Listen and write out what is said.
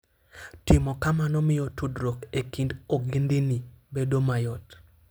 Timo kamano miyo tudruok e kind ogendini bedo mayot.